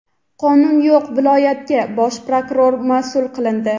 "Qonun yo‘q viloyat"ga bosh prokuror masʼul qilindi.